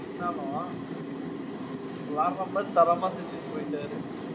இருந்தாலும் வேற மாதிரி தரமா செஞ்சுட்டு போயிட்டாரு.